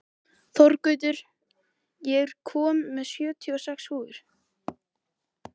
Þorgautur, ég kom með sjötíu og sex húfur!